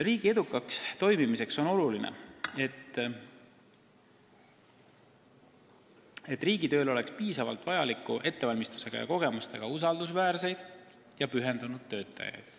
Riigi edukaks toimimiseks on oluline, et riigitööl oleks piisavalt hea ettevalmistusega ja kogemustega usaldusväärseid ja pühendunud töötajaid.